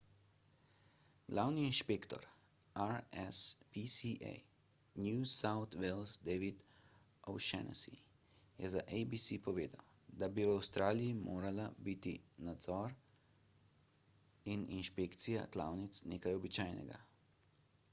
glavni inšpektor rspca new south wales david o'shannessy je za abc povedal da bi v avstraliji morala biti nadzor in inšpekcija klavnic nekaj običajnega